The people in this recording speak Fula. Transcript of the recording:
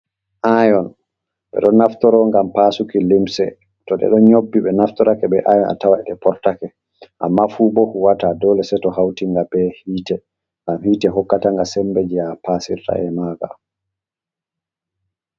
Ayon ɓe ɗon naftoro ngam pasuki limse to ɓe ɗon nyobbi ɓe naftorake be ayon a tawe ɗe portake amma fu bo huwata dole seto hautinga be hite ngam hite hokkatanga sembe je a pasirra’e manga.